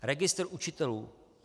Registr učitelů.